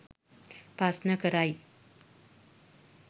ප්‍රශ්න කරයි.